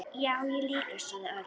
Já, ég líka sagði Örn.